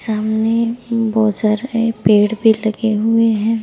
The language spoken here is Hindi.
सामने बहुत सारे पेड़ भी लगे हुए हैं।